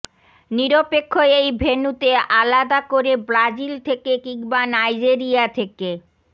নিরপেক্ষ এই ভেন্যুতে আলাদা করে ব্রাজিল থেকে কিংবা নাইজেরিয়া থেকে